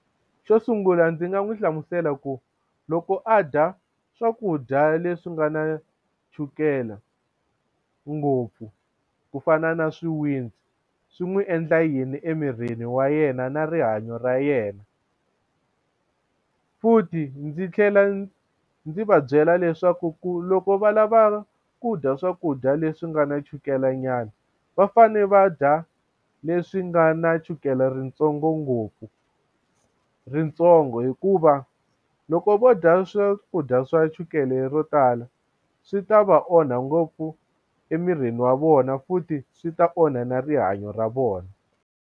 Xo sungula ndzi nga n'wi hlamusela ku loko a dya swakudya leswi nga na chukele ngopfu ku fana na swiwitsi swi n'wi endla yini emirini wa yena na rihanyo ra yena futhi ndzi tlhela ndzi va byela leswaku ku loko va lava ku dya swakudya leswi nga na chukelenyana va fane va dya leswi nga na chukele ritsongo ngopfu ritsongo hikuva loko vo dya swakudya swa chukele ro tala swi ta va onha ngopfu emirini wa vona futhi swi ta onha na rihanyo ra vona.